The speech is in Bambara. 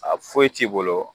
A foyi t'i bolo